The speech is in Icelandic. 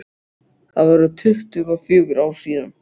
Það voru tuttugu og fjögur ár síðan.